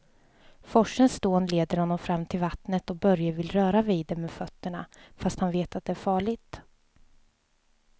Forsens dån leder honom fram till vattnet och Börje vill röra vid det med fötterna, fast han vet att det är farligt.